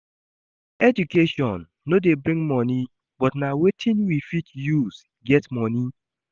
Education no de bring money but na wetin we fit use get money